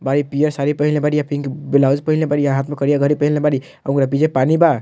बाड़ी पियर साड़ी पहिनले बाड़ी आ पिंक ब्लाउज पहिनले बाड़ी हाथ में करिया घड़ी पहिनले बाड़ी ओकरा पीछे पानी बा।